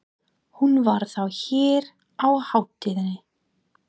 Hún var þá hér á hátíðinni!